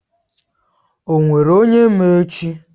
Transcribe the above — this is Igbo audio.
O nwere onye ma echi?